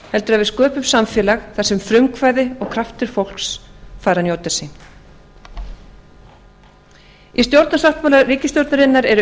heldur að við sköpum samfélag þar sem frumkvæði og kraftur fólks fær að njóta sín í stjórnarsáttmála ríkisstjórnarinnar eru